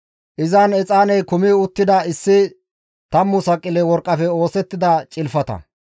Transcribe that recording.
Izan exaaney kumi uttida issi tammu saqile worqqafe oosettida cilfata,